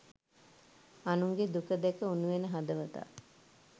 අනුන්ගේ දුක දැක උණුවෙන හදවතක්